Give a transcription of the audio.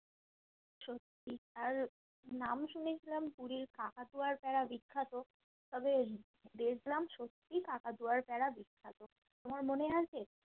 সত্যি আর নাম শুনে কিরকম পুরীর কাকাতুয়ার প্যাড়া বিখ্যাত তবে দেখলাম সত্যিই কাকাতুয়ার প্যাড়া বিখ্যাত তোমার মনে আছে